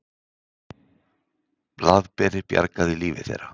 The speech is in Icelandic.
Blaðberi bjargaði lífi þeirra.